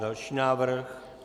Další návrh.